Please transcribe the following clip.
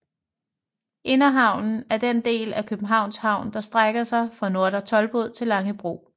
Inderhavnen er den del af Københavns Havn der strækker sig fra Nordre Toldbod til Langebro